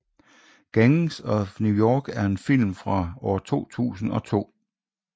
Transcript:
Gangs of New York er en film fra 2002